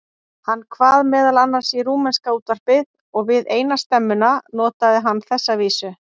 Hann kvað meðal annars í rúmenska útvarpið og við eina stemmuna notaði hann þessa vísu